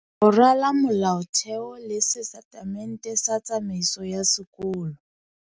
Ho rala molaotheo le setatemente sa tsamaiso ya sekolo.